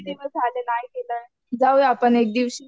किती दिवस झालं नाही गेलो, जाऊया आपण एक दिवशी.